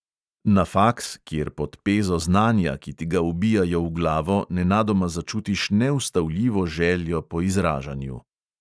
Na faks, kjer pod pezo znanja, ki ti ga vbijajo v glavo, nenadoma začutiš neustavljivo željo po izražanju.